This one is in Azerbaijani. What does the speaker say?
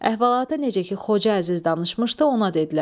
Əhvalatı necə ki Xoca Əziz danışmışdı, ona dedilər.